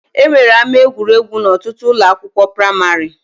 E nwere ama egwuregwu n'ọtụtụ ụlọ akwụkwọ praimarị